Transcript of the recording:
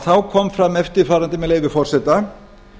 þá kom fram eftirfarandi með leyfi forseta